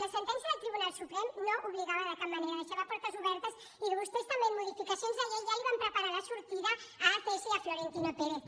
la sentència del tribunal suprem no obligava de cap manera deixava portes obertes i vostès també en modificacions de llei ja li van preparar la sortida a acs i a florentino pérez